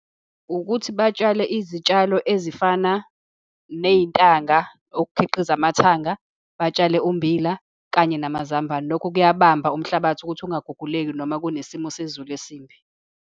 Ukuthi batshale izitshalo ezifana neyintanga ukukhiqiza amathanga, batshale ummbila, kanye namazambane. Lokho kuyabamba umhlabathi ukuthi ungaguguleki, noma kunesimo sezulu esibi.